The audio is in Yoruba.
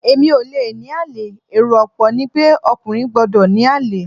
Èmi ò le ní àlè, èrò ọ̀pọ̀ ni pé ọkùnrin gbọ́dọ̀ ní àlè.